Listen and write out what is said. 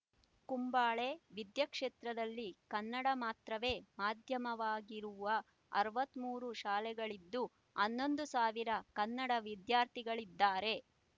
ಕುಂಬಳೆ ವಿದ್ಯಾಕ್ಷೇತ್ರದಲ್ಲಿ ಕನ್ನಡ ಮಾತ್ರವೇ ಮಾಧ್ಯಮವಾಗಿರುವ ಅರವತ್ತ್ ಮೂರು ಶಾಲೆಗಳಿದ್ದು ಹನ್ನೊಂದು ಸಾವಿರ ಕನ್ನಡ ವಿದ್ಯಾರ್ಥಿಗಳಿದ್ದಾರೆ